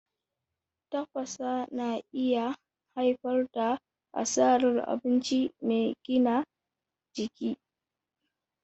Tafasa na iya haifar da asarar abinci mai gina jiki.